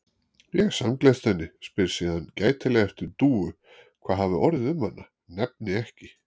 Ég samgleðst henni, spyr síðan gætilega eftir Dúu, hvað hafi orðið um hana, nefni ekki